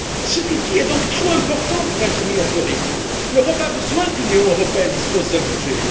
Cet outil est donc trop important pour être mis en péril. L'Europe a besoin que l'Union européenne dispose d'un budget.